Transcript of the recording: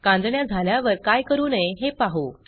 कांजिण्या झाल्यावर काय करू नये हे पाहू